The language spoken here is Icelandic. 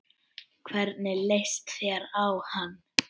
Hvernig leist þér á hann?